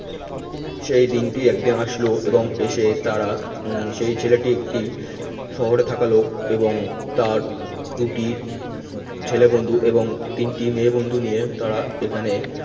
সেই দিনটি একদিন আসলো এবং এসে তারা হম সেই ছেলেটি একটি শহরে থাকা লোক এবং তার দুটি ছেলে বন্ধু এবং তিনটি মেয়ে বন্ধু নিয়ে তারা এখানে